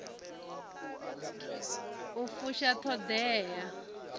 u fusha t hod ea